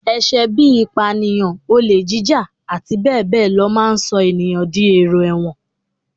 Ẹ̀ṣẹ̀ bí i ìpànìyàn, olè jíjà, àti bẹ́ẹ̀ ló máa ń sọ èèyàn di èrò ẹ̀wọ̀n